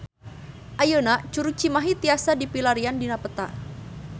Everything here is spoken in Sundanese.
Ayeuna Curug Cimahi tiasa dipilarian dina peta